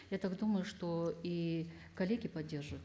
я так думаю что и коллеги поддержут